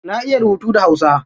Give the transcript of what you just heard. Na iya rubutu da hausa.